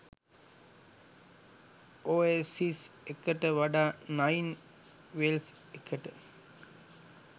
oasis එකට වඩා nine wells එකට